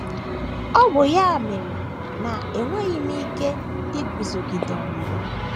Ọ bụ ya mere na enweghị m ike iguzogide ọnwụnwa.